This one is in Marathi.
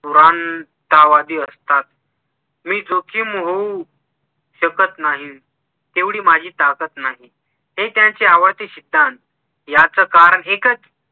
भगवंतावादी असतात मी जोखीम होऊ शकत नाही तेवढी माझी ताकत नाही हे त्यांचे आवडते सिद्धांत याच कारण एकच